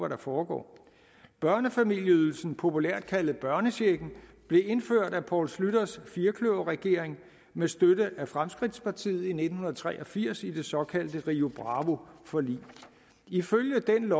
der foregår børnefamilieydelsen populært kaldet børnechecken blev indført af poul schlüters firkløverregering med støtte af fremskridtspartiet i nitten tre og firs i det såkaldte rio bravo forlig ifølge den